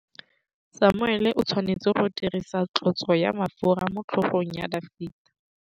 Samuele o tshwanetse go dirisa tlotsô ya mafura motlhôgong ya Dafita.